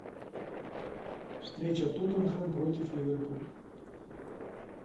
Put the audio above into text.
встреча тоттенхэм против ливерпуля